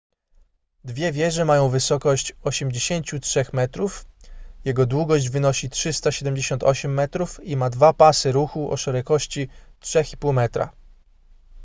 dwie wieże mają wysokość 83 metrów jego długość wynosi 378 metrów i ma dwa pasy ruchu o szerokości 3,5 m